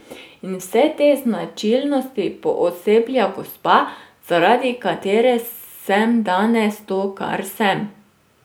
In vse te značilnosti pooseblja gospa, zaradi katere sem danes to, kar sem.